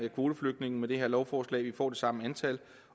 kvoteflygtninge med det her lovforslag vi får det samme antal